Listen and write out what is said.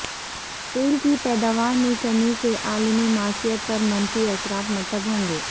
تیل کی پیداوار میں کمی سے عالمی معیشت پر منفی اثرات مرتب ہوں گے